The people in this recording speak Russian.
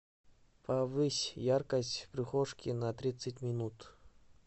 повысь яркость в прихожке на тридцать минут